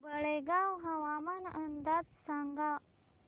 तळेगाव हवामान अंदाज सांगा